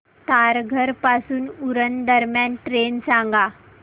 तारघर पासून उरण दरम्यान ट्रेन सांगा